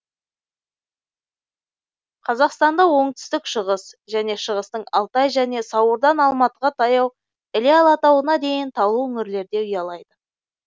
қазақстанда оңтүстік шығыс және шығыстың алтай және сауырдан алматыға таяу іле алатауына дейін таулы өңірлерде ұялайды